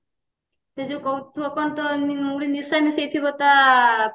ସେ ଯୋଉ କହୁଥିବ କଣ ତ ଗୋଟେ ନିଶା ମିଶେଇ ଥିବ ତା